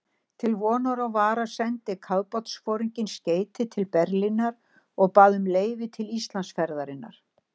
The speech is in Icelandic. Til vonar og vara sendi kafbátsforinginn skeyti til Berlínar og bað um leyfi til Íslandsferðarinnar.